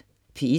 P1: